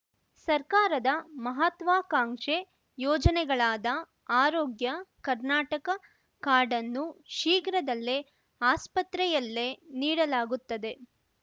ಸರ್ಕಾರದ ಮಹತ್ವಾಕಾಂಕ್ಷೆ ಯೋಜನೆಗಳಾದ ಆರೋಗ್ಯ ಕರ್ನಾಟಕ ಕಾರ್ಡನ್ನು ಶೀರ್ಘದಲ್ಲೇ ಆಸ್ಪತ್ರೆಯಲ್ಲೇ ನೀಡಲಾಗುತ್ತದೆ